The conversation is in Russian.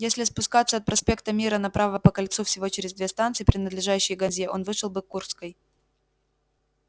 если спускаться от проспекта мира направо по кольцу всего через две станции принадлежащие газе он вышел бы к курской